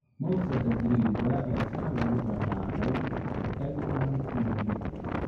Moussaka Giriiga waa saxan lagu dahaadhay eggplant iyo hilib.